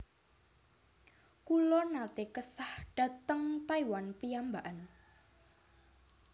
Kulo nate kesah dateng Taiwan piyambakan